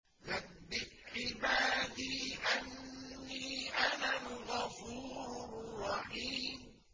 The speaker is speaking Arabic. ۞ نَبِّئْ عِبَادِي أَنِّي أَنَا الْغَفُورُ الرَّحِيمُ